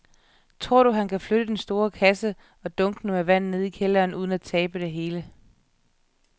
Tror du, at han kan flytte den store kasse og dunkene med vand ned i kælderen uden at tabe det hele?